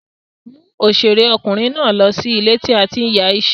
Mú òṣèré ọkùnrin náà lọ sí ilé tí a ti ń ya iṣẹ́.